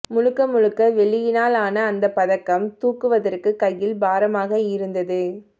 முழுக்க முழுக்க வெள்ளியினால் ஆன அந்தப் பதக்கம் தூக்குவதற்கு கையில் பாரமாக இருந்தது